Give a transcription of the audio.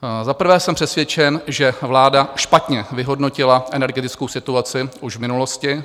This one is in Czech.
Za prvé jsem přesvědčen, že vláda špatně vyhodnotila energetickou situaci už v minulosti.